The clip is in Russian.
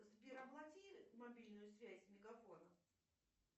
сбер оплати мобильную связь мегафона